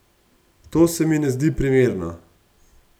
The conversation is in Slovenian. To se mi ne zdi primerno.